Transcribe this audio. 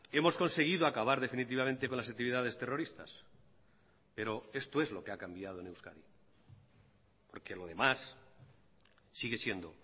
hemos conseguido acabar definitivamente con las actividades terroristas pero esto es lo que ha cambiado en euskadi porque lo demás sigue siendo